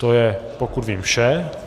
To je, pokud vím, vše.